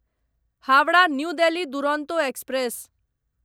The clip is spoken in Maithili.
Howrah new Delhi Duronto express